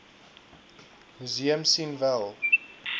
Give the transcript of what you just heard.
museum sien wel